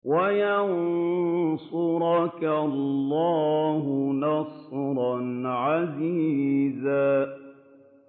وَيَنصُرَكَ اللَّهُ نَصْرًا عَزِيزًا